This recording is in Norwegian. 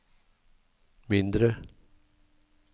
mindre